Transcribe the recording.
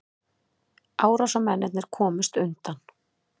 Árásarmennirnir komust undan